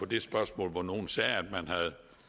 det spørgsmål hvor nogle sagde at man